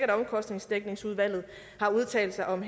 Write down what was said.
at omkostningsdækningsudvalget har udtalt sig om